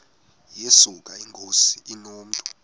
yesuka inkosi inomntu